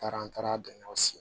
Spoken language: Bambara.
Taara an taara donnaw si